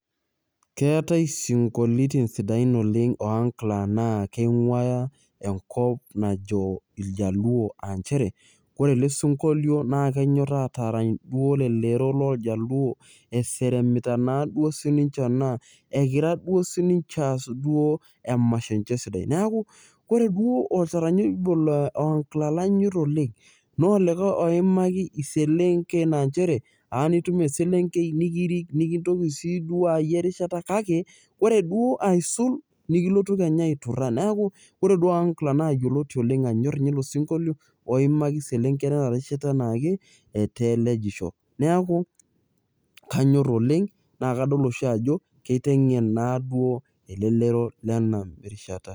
keetae sinkoliotin sidain oleng ohangla naakeing'uaya enkop najo iljaluo anchere ore ele sinkolio naa kenyorr atarany duo lelero loljaluo eseremita naa duo sininche ena ekira duo sininche aas duo emasho enche sidai naaku kore duo oltarnya obo ohangla lanyorr oleng naa olikae oimaki iselenken anchere anitum eselenkei nikirik nikintoki siduo ayie erishata kake ore duo aisul nikilotu kenya aiturra neeku ore duo ohangla naa yioloti oleng anyor inye ilo sinkolio oimaki iselenken enarishata naake etaa elejisho niaku kanyorr oleng naa kadol osi ajo keiteng'en naa duo elelero lena rishata.